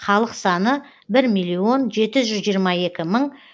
халық саны бір миллион жеті жүз жиырма екі мың